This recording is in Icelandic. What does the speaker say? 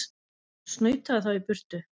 Snautaðu þá í burtu!